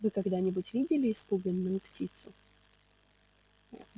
вы когда нибудь видели испуганную птицу